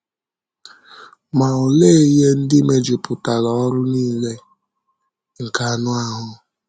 Ma olee ihe ndị mejupụtara ọrụ nile nke anụ ahụ́?